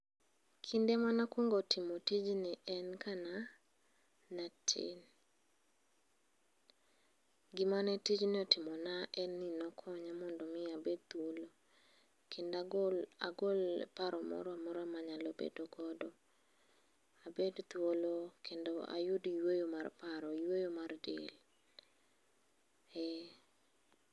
Kinde manakuongo timo tijni en kanatin. Gimane tijni otimona en ni nokonya mondo mi abed thuolo. Kendo agol paro moramora manyalo bedogodo. Abed thuolo mondo ayud yweyo mar paro, yweyo mar del. Ee.